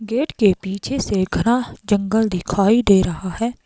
Gate के पीछे से घना जंगल दिखाई दे रहा है।